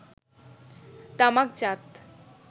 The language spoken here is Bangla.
তামাকজাত